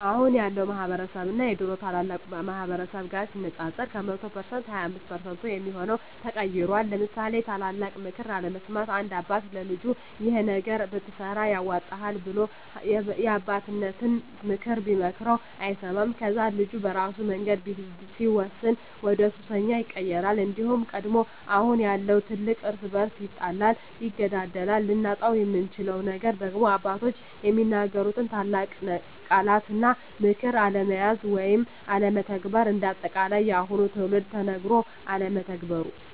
አሁን ያለው ማህበረስብ እና የድሮ ታላላቅ ማህበረሰብ ጋር ሲነፃፀር ከ100% 25% የሚሆው ተቀይሯል ለምሳሌ የታላላቅ ምክር አለመስማት፦ አንድ አባት ለልጁ ይሄን ነገር ብትሰራ ያዋጣሀል ብሎ የአባቴነተን ምክር ቢመክረው አይሰማውም ከዛ ልጁ በራሱ መንገድ ሲወስን ወደሱሰኛ ይቀየራል። እንዲሁም ደግሞ አሁን ያለው ትውልድ እርስ በርሱ ይጣላል ይገዳደላል። ልናጣው የምንችለው ነገር ደግሞ አባቶች የሚናገሩትን ቃላት እና ምክር አለመያዝ ወይም አለመተግበር። እንደ አጠቃላይ የአሁኑ ትውልድ ተነገሮ አለመተግበሩ